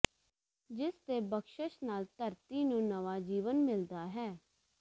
ਜਿਸ ਦੇ ਬਖਸ਼ਿਸ਼ ਨਾਲ ਧਰਤੀ ਨੂੰ ਨਵਾਂ ਜੀਵਨ ਮਿਲਦਾ ਹੈ